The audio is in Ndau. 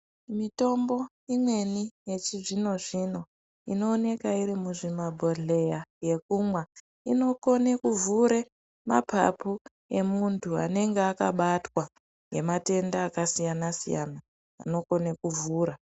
Mitombo imweni yechizvino-zvino, inowoneka iri muzvimabhodhleya yekumwa, inokone kuvhure mapapu yemuntu anenge akabatwa ngematenda akasiyana-siyana ,anokone kuvhura.